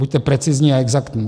Buďte precizní a exaktní.